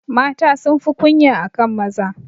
Mata sunfi kunya akan maza.